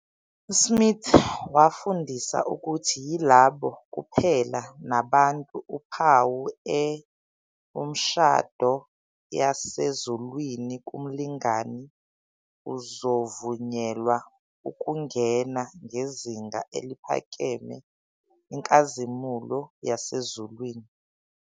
Smith wafundisa ukuthi yilabo kuphela nabantu uphawu e umshado yasezulwini kumlingani uzovunyelwa ukungena ngezinga eliphakeme inkazimulo yasezulwini.